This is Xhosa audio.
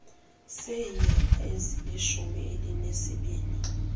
seenyanga ezilishumi elinesibini